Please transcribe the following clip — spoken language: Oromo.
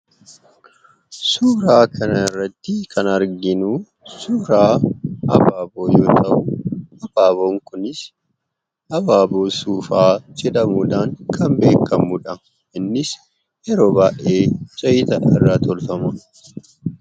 Suuraa kanarratti kan arginu suuraa abaaboo yoo ta'u, abaaboo suufaa jedhamuudhaan kan beekamudha. Innis yeroo baay'ee zayita irraa tolfama.